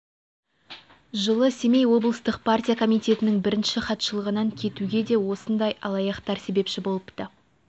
жылы семей облыстық партия комитетінің бірінші хатшылығынан кетуге де осындай алаяқтар себепші болыпты